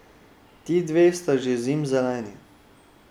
Ti dve sta že zimzeleni.